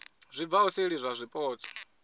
zwi bvaho seli zwa zwipotso